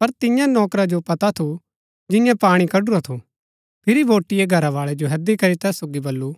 पर तियां नौकरा जो पता थू जियें पाणी कड्‍डूरा थू फिरी बोटिऐ घरावाळै जो हैदी करी तैस सोगी बल्लू